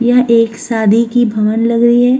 यहाँ एक शादी की भवन लग रही है।